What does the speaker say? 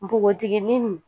Npogotikinin nin